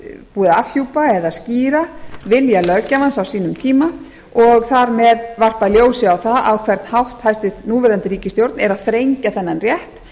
búið að afhjúpa eða skýra vilja löggjafans á sínum tíma og þar með varpa ljósi á það a hvern hátt hæstvirtur núv ríkisstjórn er að þrengja þennan rétt